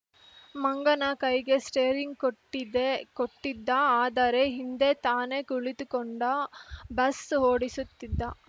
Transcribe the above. ಮಂಗನ ಕೈಗೆ ಸ್ಟೇರಿಂಗ್‌ ಕೊಟ್ಟಿದ್ದೆ ಕೊಟ್ಟಿದ್ದ ಆದರೆ ಹಿಂದೆ ತಾನೇ ಕುಳಿತುಕೊಂಡ ಬಸ್‌ ಓಡಿಸುತ್ತಿದ್ದ